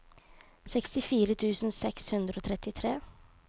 sekstifire tusen seks hundre og trettitre